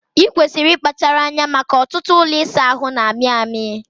Ikwesịrị ịkpachara anya maka ọtụtụ ụlọ ịsa ahụ na-amị amị